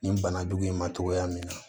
Nin bana jugu in ma cogoya min na